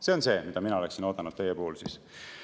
See on see, mida mina oleksin teilt oodanud siis.